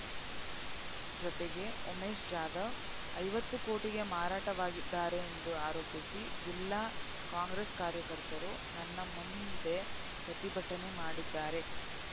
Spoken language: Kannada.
ಜತೆಗೆ ಉಮೇಶ್‌ ಜಾಧವ್‌ ಐವತ್ತು ಕೋಟಿಗೆ ಮಾರಾಟವಾಗಿದ್ದಾರೆಂದು ಆರೋಪಿಸಿ ಜಿಲ್ಲಾ ಕಾಂಗ್ರೆಸ್‌ ಕಾರ್ಯಕರ್ತರು ನನ್ನ ಮುಂದೆ ಪ್ರತಿಭಟನೆ ಮಾಡಿದ್ದಾರೆ